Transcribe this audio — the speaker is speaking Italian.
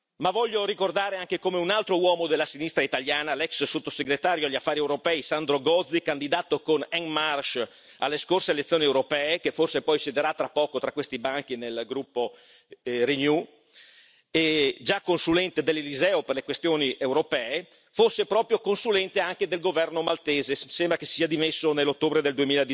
Ma voglio ricordare anche come un altro uomo della sinistra italiana, l'ex sottosegretario agli Affari europei, Sandro Gozi, candidato con En Marche alle scorse elezioni europee e che forse poi siederà tra poco tra questi banchi nel gruppo Renew e già consulente dell'Eliseo per le questioni europee, fosse proprio consulente anche del governo maltese, sembra che si sia dimesso nell'ottobre del